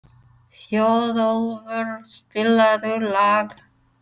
Þjóðólfur, spilaðu lag.